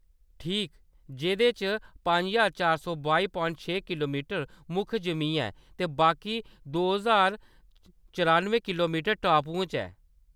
ठीक, जेह्‌‌‌दे च पंज ज्हार चार सौ बाई पवांइट छे किलोमीटर मुक्ख जिमीं ऐ ते बाकी दो ज्हार चरानुए किलोमीटर टापुएं च ऐ।